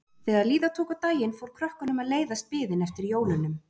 Þegar líða tók á daginn fór krökkunum að leiðast biðin eftir jólunum.